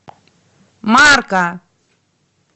марка